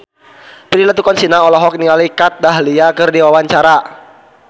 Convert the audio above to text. Prilly Latuconsina olohok ningali Kat Dahlia keur diwawancara